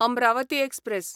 Amravati express